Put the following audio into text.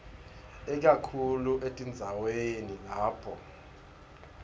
ikakhulu etindzaweni lapho